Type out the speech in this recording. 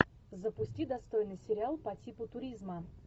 запусти достойный сериал по типу туризма